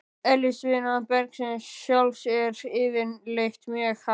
Eðlisviðnám bergsins sjálfs er yfirleitt mjög hátt.